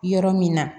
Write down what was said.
Yɔrɔ min na